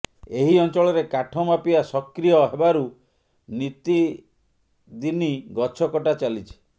ଏହି ଅଞ୍ଚଳରେ କାଠ ମାଫିଆ ସକ୍ରୀୟ ହେବାରୁ ନିତିଦିନି ଗଛ କଟା ଚାଲିଛି